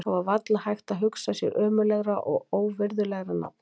Það var varla hægt að hugsa sér ömurlegra og óvirðulegra nafn.